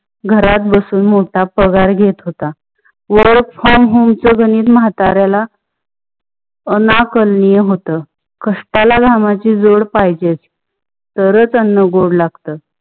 घरात बसून मोठा पगार घेत होता. work from home च्या गणित माताऱ्याला ना आणकार्निया होत. कष्टाळ घामाची जोड पहाजे तरच अन्न गोड लागते.